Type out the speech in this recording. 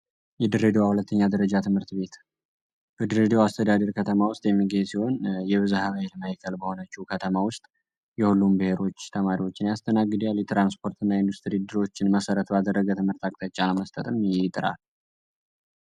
የድሬዳዋ ሁለተኛ ድረጃ ትምህርት ቤት በድሬዳዋ አስተዳደር ከተማ ውስጥ የሚገኝ ሲሆን የብዝሃ በይል ማይከል በሆነችው ከተማ ውስጥ የሁሉም ብሔሮች ተማሪዎችን ያስተናግዳል። ሊትራንስፖርት እና የኢንዱስትሪ ድሮችን መሰረት በአደረገ ትምህርት አቅተጨ ለመስተጥም ይጥራል።